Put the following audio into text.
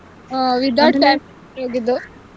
Without ಹೋಗಿದ್ದು.